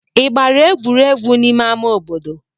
Ị gbara egwuregwu n'ime ama obodo?